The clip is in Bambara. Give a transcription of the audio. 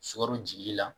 Sukaro jili la